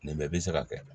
Nin bɛɛ bɛ se ka kɛ